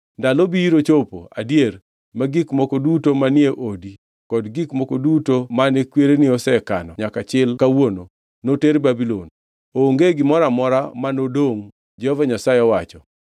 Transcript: Ndalo biro chopo adier ma gik moko duto manie odi kod gik moko duto mane kwereni osekano nyaka chil kawuono, noter Babulon. Onge gimoro amora mane odongʼ, Jehova Nyasaye owacho.